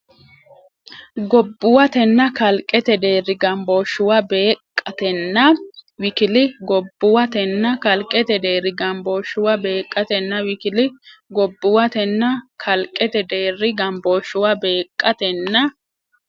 Gobbuwatenna kalqete deerri gambooshshuwa beeqqa- teetnna w k l Gobbuwatenna kalqete deerri gambooshshuwa beeqqa- teetnna w k l Gobbuwatenna kalqete deerri gambooshshuwa beeqqa- teetnna.